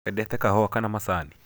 wendete kahũa kana macani?